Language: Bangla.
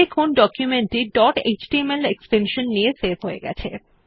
দেখুন ডকুমেন্ট টি ডট এচটিএমএল এক্সটেনশন নিয়ে সেভ হয়ে গেছে